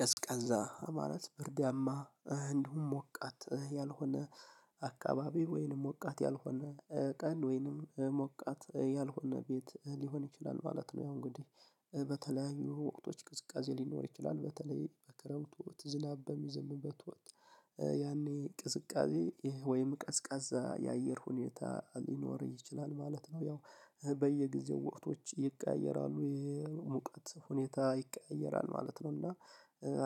ቀዝቃዛ ማለት ብርዳማ እንደውም ሞቃት ያልሆነ አካባቢ ወይንም ሞቃት ያልሆነ ቀን ወይንም ሞቃት ያልሆነ ቤት ሊሆን ይችላል ማለት ነው። ያው እንግዲህ በተለያዩ ወቅቶች ቅዝቃዜ ሊኖር ይችላል በተለይ በክረምት ወቅት ዝናብ በሚዘምብበት ወቅት ያኔ ቅዝቃዜ ይሄ ወይም ቀዝቃዛ የአየር ሁኔታ ሊኖር ይችላል ማለት ነው። ያው በየጊዜው ወቅቶች ይቀያየራሉ የሙቀት ሁኔታ ይቀያየራል ማለት ነው። እና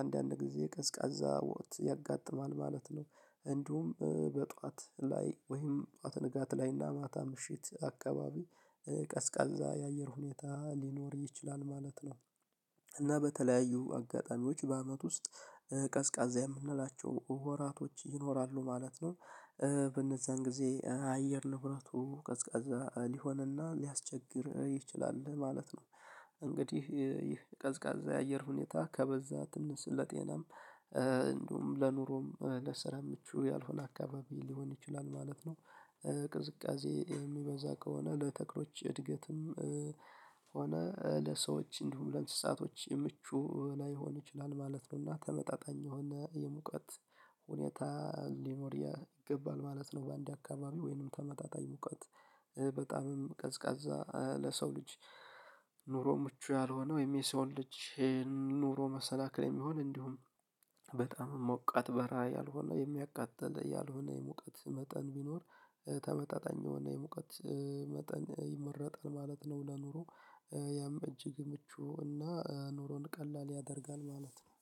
አንዳንድ ጊዜ ቀዝቃዛ ወቅት ያጋጥማል ማለት ነው። እንዲሁም በጧት ላይ ወይም ጧት ንጋት ላይና ማታ ምሽት አካባቢ ቀዝቃዛ የአየር ሁኔታ ሊኖር ይችላል ማለት ነው። እና በተለያዩ አጋጣሚዎች በአመት ውስጥ ቀዝቃዛ የምንላቸው ወራቶች ይኖራሉ ማለት ነው። በእነዛን ጊዜ አየር ንብረቱ ቀዝቃዛ ሊሆንና ሊያስቸግር ይችላል ማለት ነው። እንግዲህ ይህ ቀዝቃዛ የአየር ሁኔታ ከበዛ ትንሽ ለጤናም እንዲሁም ለኑሮም ለስራ ምቹ ያልሆነ አካባቢ ሊሆን ይችላል ማለት ነው። ቅዝቃዜ የሚበዛ ከሆነ ለተክሎች እድገትም ሆነ ለሰዎች እንዲሁ ለእንስሳቶች ምቹ ላይሆን ይችላል ማለት ነው። እና ተመጣጣኝ የሆነ የሙቀት ሁኔታ ሊኖር ይገባል ማለት ነው። በአንድ አካባቢ ወይንም ተመጣጣኝ ሙቀት በጣምም ቀዝቃዛ ለሰው ልጅ ኑሮ ምቹ ያልሆነ ወይም የሰው ልጅ ይሄን ኑሮ መሰናክል የሚሆን እንዲሁም በጣም ሞቀት በረሃ ያልሆነ የሚያቃጥል ያልሆነ የሙቀት መጠን ቢኖር ተመጣጣኝ ነው የሙቀት መጠን ይመረጣል ማለት ነው። ለኑሮ ያም እጅግ ምቹ እና ኑሮን ቀላል ያደርጋል ማለት ነው።